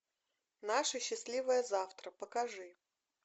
наше счастливое завтра покажи